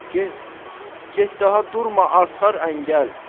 Get, get, daha durma, artar əngəl.